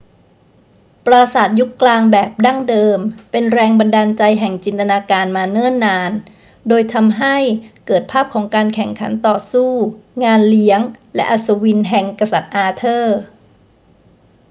ปราสาทยุคกลางแบบดั้งเดิมเป็นแรงบันดาลใจแห่งจินตนาการมาเนิ่นนาน โดยทำให้เกิดภาพของการแข่งขันต่อสู้ งานเลี้ยง และอัศวินแห่งกษัตริย์อาเธอร์